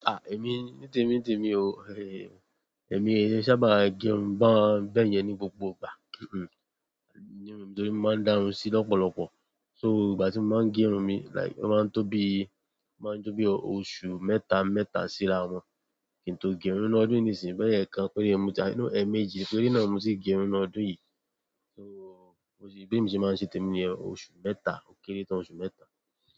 Èmi ní tèmi tèmi o, èmi o sábà gé irun bẹ́yẹn ní gbogbo ìgbà, nítorí mo máa ń dá irun sí lọ́pọ̀lọ́pọ̀. So ìgbà tí mo máa ń gé irun mi like ó máa ń tó bí, ó máa ń tó bí ọ̀su mẹ́ta, mẹ́ta sí ara wọn. Kìntò gé irun. Nínú ọdún yìí ní sì ń bẹoya ẹ kan pére ní moti. Ẹemẹ́jì pere náà mo tì gé irun nínú ọdún yìí. Be mi ṣe máa ń ṣe tèmi ni yen. Oṣù mẹ́ta ó kéré tán oṣù mẹ́ta.